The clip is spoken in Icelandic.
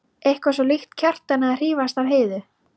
Eitthvað svo líkt Kjartani að hrífast af Heiðu.